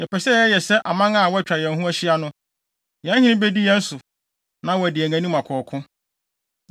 Yɛpɛ sɛ yɛyɛ sɛ aman a wɔatwa yɛn ho ahyia no. Yɛn hene bedi yɛn so, na wadi yɛn anim akɔ ɔko.”